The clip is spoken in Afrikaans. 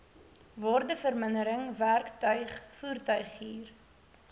waardevermindering werktuig voertuighuur